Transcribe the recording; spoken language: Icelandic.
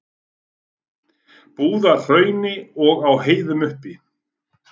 Búðahrauni og á heiðum uppi.